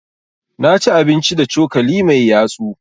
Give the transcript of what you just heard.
Na ci abinci da cokali mai yatsu.